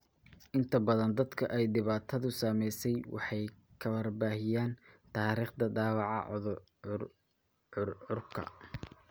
Inta badan dadka ay dhibaatadu saameysey waxay ka warbixiyaan taariikhda dhaawaca curcurka.